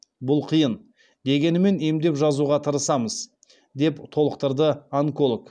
бұл қиын дегенімен емдеп жазуға тырысамыз деп толықтырды онколог